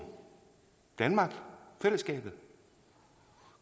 danmark fællesskabet